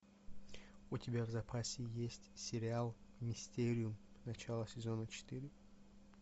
у тебя в запасе есть сериал мистериум начало сезона четыре